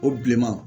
O bilenman